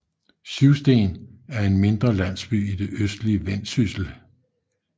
Syvsten er en mindre landsby i det østlige Vendsyssel med